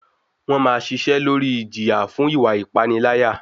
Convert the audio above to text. Wọ́n máa ṣiṣẹ́ lórí ìjìyà fún ìwa ìpániláyà.